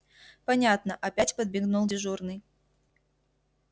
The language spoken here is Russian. понятно опять подмигнул дежурный